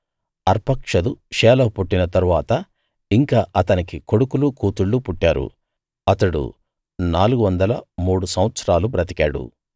అర్పక్షదుకు షేలహు పుట్టిన తరువాత ఇంకా అతనికి కొడుకులు కూతుళ్ళు పుట్టారు అతడు నాలుగు వందల మూడు సంవత్సరాలు బతికాడు